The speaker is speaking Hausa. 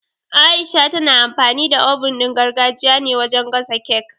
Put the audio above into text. Aisha tana amfani da oven ɗin gargajiya ne wajen gasa cake